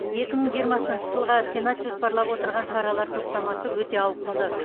екі мың жиырмасыншы жылға сенат жоспарлап отырған шаралар топтамасы өте ауқымды